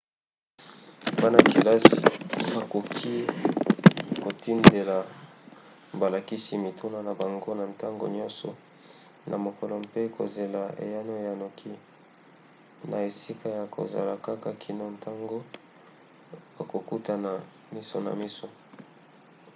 bana-kelasi bakoki kotindela balakisi mituna na bango na ntango nyonso na mokolo mpe kozela eyano ya noki na esika ya kozala kaka kino ntango bakokutana miso na miso